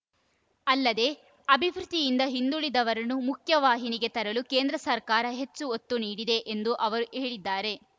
ಅಲ್ಲದೆ ಅಭಿವೃದ್ಧಿಯಿಂದ ಹಿಂದುಳಿದವರನ್ನು ಮುಖ್ಯ ವಾಹಿನಿಗೆ ತರಲು ಕೇಂದ್ರ ಸರ್ಕಾರ ಹೆಚ್ಚು ಒತ್ತು ನೀಡಿದೆ ಎಂದು ಅವರು ಹೇಳಿದ್ದಾರೆ